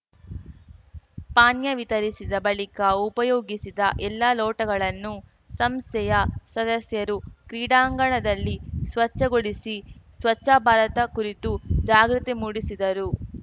ಪಾನೀಯ ವಿತರಿಸಿದ ಬಳಿಕ ಉಪಯೋಗಿಸಿದ್ದ ಎಲ್ಲಾ ಲೋಟಗಳನ್ನು ಸಂಸ್ಥೆಯ ಸದಸ್ಯರು ಕ್ರೀಡಾಂಗಣದಲ್ಲಿ ಸ್ವಚ್ಛಗೊಳಿಸಿ ಸ್ವಚ್ಛಭಾರತ ಕುರಿತು ಜಾಗೃತಿ ಮೂಡಿಸಿದರು